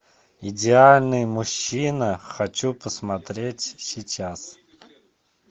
идеальный мужчина хочу посмотреть сейчас